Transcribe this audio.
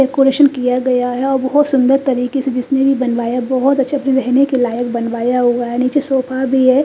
Decoration किया गया है और बहुत सुंदर तरीके से जिसने भी बनवाया बहुत अच्छे रहने के लायक बनवाया हुआ है नीचे सोफा भी है।